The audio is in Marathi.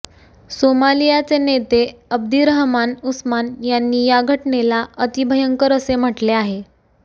सोमालियाचे नेते अब्दीरहमान उस्मान यांनी या घटनेला अतिभयंकर असे म्हटले आहे